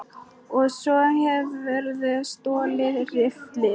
Og svo hefurðu stolið riffli!